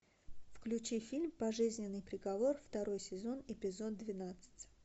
включи фильм пожизненный приговор второй сезон эпизод двенадцать